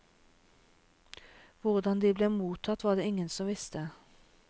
Hvordan de ble mottatt, var det ingen som visste.